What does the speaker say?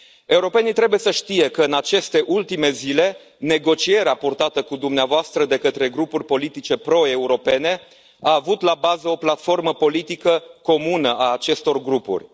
Europenii trebuie să știe că în aceste ultime zile, negocierea purtată cu dumneavoastră de către grupuri politice proeuropene a avut la bază o platformă politică comună a acestor grupuri.